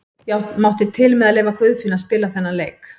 Ég mátti til með að leyfa Guðfinni að spila þennan leik.